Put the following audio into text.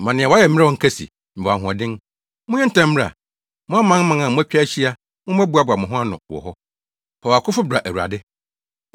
Monyɛ ntɛm mmra, mo amanaman a moatwa ahyia, mommɛboa mo ho ano wɔ hɔ. Fa wʼakofo bra, Awurade!